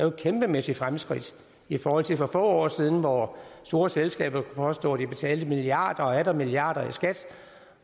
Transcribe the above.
et kæmpemæssigt fremskridt i forhold til for få år siden hvor store selskaber kunne påstå at de betalte milliarder og atter milliarder i skat